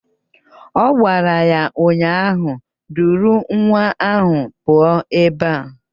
Ọ gwara ya ụnyaahụ "Duru nwa ahụ pụọ ebe a"!